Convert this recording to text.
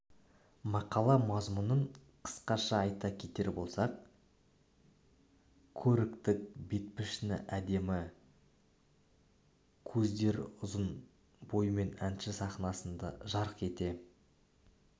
мақала мазмұнын қысқаша айта кетер болсақ көрікті бет-пішін әдемі көздер ұызын бойымен әнші сахнасында жарық ете